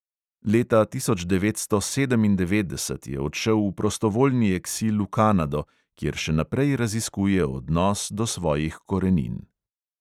Leta tisoč devetsto sedemindevetdeset je odšel v prostovoljni eksil v kanado, kjer še naprej raziskuje odnos do svojih korenin.